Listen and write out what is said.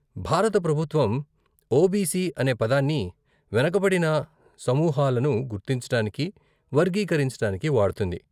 భారత ప్రభుత్వం ఓబీసీ అనే పదాన్ని వెనుకబడిన సమూహాలను గుర్తించటానికి, వర్గీకరించటానికి వాడుతుంది.